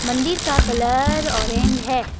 मंदिर का colour orange है।